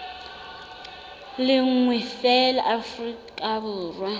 le nngwe feela afrika borwa